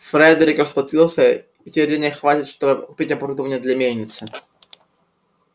фредерик расплатился и теперь денег хватит чтобы купить оборудование для мельницы